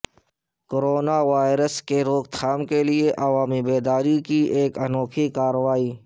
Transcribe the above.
corona virus کے روکتھام کیلئے عوامی بیداری کی انوکھی کارورائی